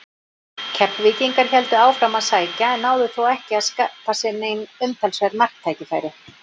Keflvíkingar héldu áfram að sækja en náðu þó ekki að skapa sér nein umtalsverð marktækifæri.